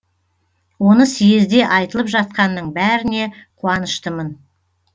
оны съезде айтылып жатқанның бәріне қуаныштымын